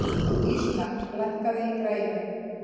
Ísmar, lækkaðu í græjunum.